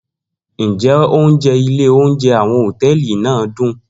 Njẹ ounjẹ ile ounjẹ awọn hotẹẹli naa dun?